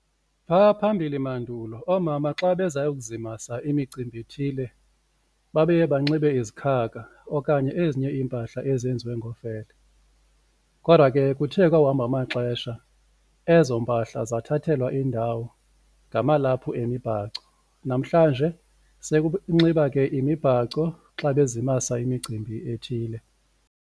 Phaa phambili mandulo oomama xa beza yokuzimasa imicimbi ithile babeye banxibe izikhakha okanye ezinye iimpahla ezenziwe ngofele, kodwa ke kuthe kwawuhamba amaxesha ezo mpahla zathathelwa indawo ngamalaphu emibhaco namhlanje sekunxiba ke imibhaco xa bezimasa imicimbi ethile.